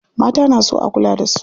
Mata na so a kula da su.